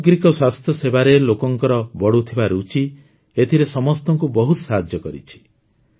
ସାମଗ୍ରିକ ସ୍ୱାସ୍ଥ୍ୟସେବାରେ ଲୋକଙ୍କର ବଢ଼ୁଥିବା ରୁଚି ଏଥିରେ ସମସ୍ତଙ୍କୁ ବହୁତ ସାହାଯ୍ୟ କରିଛି